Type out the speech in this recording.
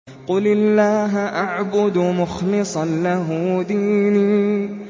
قُلِ اللَّهَ أَعْبُدُ مُخْلِصًا لَّهُ دِينِي